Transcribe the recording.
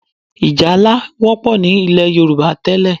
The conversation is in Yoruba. Ì̀jálá wọ́pọ̀ ní ilẹ̀ Yorùbá tẹ́lẹ̀